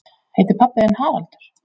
Heitir pabbi þinn Haraldur?